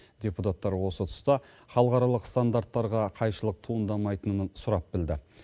депутаттар осы тұста халықаралық стандарттарға қайшылық туындамайтынын сұрап білді